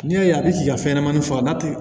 N'i y'a ye a bɛ se ka fɛn ɲɛnamanin faga n'a tɛ